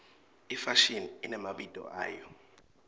ifashini inemabito ayo